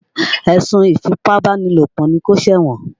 Èsùn ìfípábánilòpọ̀ ni kó ṣẹ̀wọ̀n.